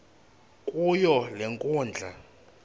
kuyo le nkundla